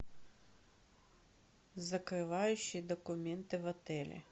закрывающие документы в отеле